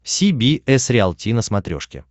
си би эс риалти на смотрешке